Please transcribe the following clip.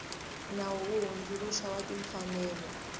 nawu wo hundzuluxa wa timfanelo